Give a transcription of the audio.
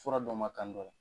Fura dɔ ma kan dɔ l